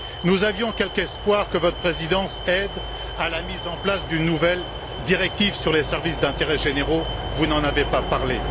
Nous avions quelque espoir que votre présidence aide à la mise en place d'une nouvelle directive sur les services d'intérêts généraux, mais vous n'en avez pas parlé.